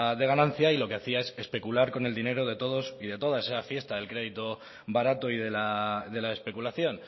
de ganancia y lo que hacía es especular con el dinero de todos y de todas esa fiesta del crédito barato y de la especulación